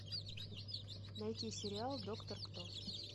найти сериал доктор кто